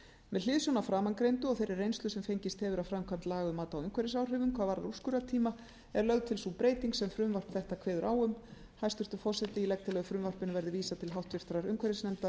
með hliðsjón af framangreindu og þeirri reynslu sem fengist hefur af framkvæmd laga um mat á umhverfisáhrifum hvað varðar úrskurðartíma er lögð til sú breyting sem frumvarp þetta kveður á um hæstvirtur forseti ég legg til að frumvarpinu verði vísað til háttvirtrar umhverfisnefndar